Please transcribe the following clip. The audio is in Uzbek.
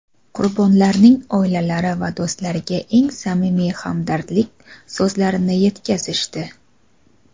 qurbonlarning oilalari va do‘stlariga eng samimiy hamdardlik so‘zlarini etkazishdi.